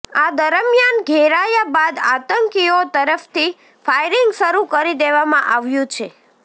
આ દરમિયાન ઘેરાયા બાદ આતંકીઓ તરફથી ફાયરિંગ શરૂ કરી દેવામાં આવ્યુ છે